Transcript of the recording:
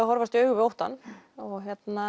að horfast í augu við óttann og